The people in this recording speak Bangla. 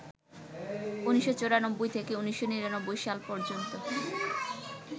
১৯৯৪ থেকে ১৯৯৯ সাল পর্যন্ত